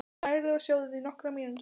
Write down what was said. Hrærið í og sjóðið í nokkrar mínútur.